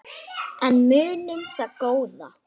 En munum það góða.